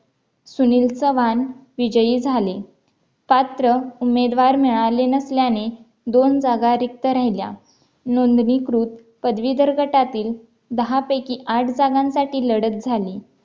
सुनील चव्हाण विजयी झाले पात्र उमेदवार मिळाले नसल्याने दोन जागा रिक्त राहिल्या नोंदणीकृत पदवीधर गटातील दहापैकी आठ जागांसाठी लढत झाली